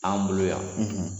Anw bolo yan